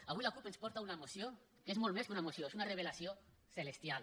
avui la cup ens porta una moció que és molt més que una moció és una revelació celestial